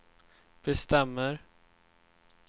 bestämmer